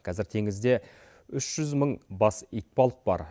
қазір теңізде үш жүз мың бас итбалық бар